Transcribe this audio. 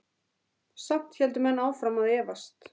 Samt héldu menn áfram að efast.